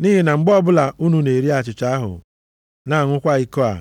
Nʼihi na mgbe ọbụla unu na-eri achịcha ahụ na-aṅụkwa iko a,